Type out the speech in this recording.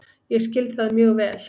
Ég skil það mjög vel